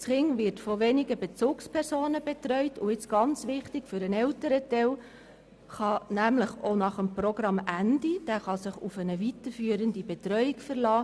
Das Kind wird so durch wenige Bezugspersonen betreut und – was sehr wichtig ist – die Eltern können sich nach Beendigung des Programms auf eine weiterführende Betreuung verlassen.